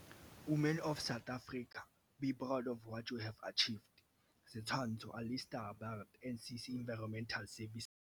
"Women of South Africa, be proud of what you have achieved." Setshwantsho - Alistair Burt - NCC Environmental Service.